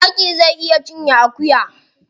Zaki zai iya cinye akuya.